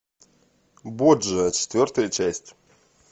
борджиа четвертая часть